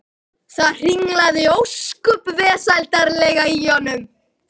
Það hringlaði ósköp vesældarlega í honum.